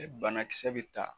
E bana kisɛ be ta